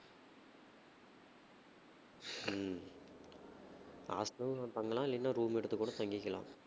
ஹம் hostel ல தங்கலாம் இல்லைன்னா room எடுத்து கூட தங்கிக்கலாம்